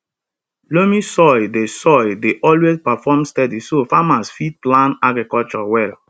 loamy soil dey soil dey always perform steady so farmers fit plan agriculture well